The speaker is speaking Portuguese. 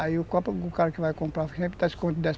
Aí o cara que vai comprar sempre está